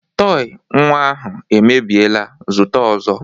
Tọị nnwa ahụ mebiela, zụta ọzọ!